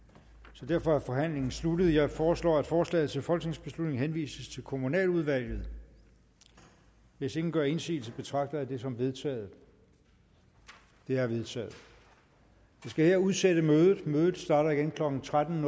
så derfor er forhandlingen sluttet jeg foreslår at forslaget til folketingsbeslutning henvises til kommunaludvalget hvis ingen gør indsigelse betragter jeg det som vedtaget det er vedtaget jeg skal her udsætte mødet mødet starter igen klokken tretten